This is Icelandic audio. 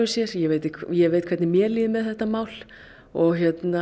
sér ég veit ég veit hvernig mér líður með þetta mál og